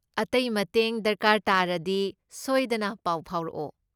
ꯑꯇꯩ ꯃꯇꯦꯡ ꯗꯔꯀꯥꯔ ꯇꯥꯔꯗꯤ ꯁꯣꯏꯗꯅ ꯄꯥꯎ ꯐꯥꯎꯔꯛꯑꯣ꯫